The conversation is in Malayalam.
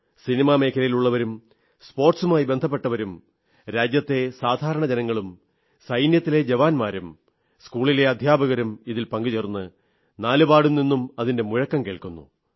സിനിമാ മേഖലയിലുള്ളവരും സ്പോർട്സുമായി ബന്ധപ്പെട്ടവരും രാജ്യത്തെ സാധാരണ ജനങ്ങളും സൈന്യത്തിലെ ജവാന്മാരും സ്കൂളിലെ അധ്യാപകരും ഇതിൽ പങ്കുചേർന്നു നാലുപാടു നിന്നും അതിന്റെ മുഴക്കം കേൾക്കുന്നു